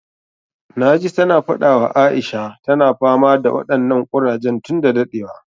Na ji ta na faɗa wa Aisha, ta na fama da waɗannan ƙurajen tun da daɗewa